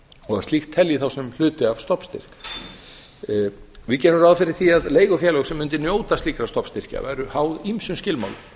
og að slíkt telji þá sem hluti af stofnstyrk við gerum ráð fyrir því að leigufélög sem mundu njóta slíkra stofnstyrkja verði háð ýmsum skilmálum